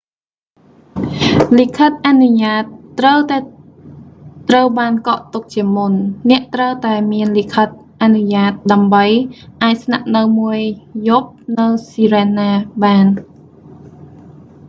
លិខិតអនុញ្ញាតត្រូវតែត្រូវបានកក់ទុកជាមុន អ្នកត្រូវតែមានលិខិតអនុញ្ញាតដើម្បីអាចស្នាក់នៅមួយយប់នៅស៊ីរែនណា sirena បាន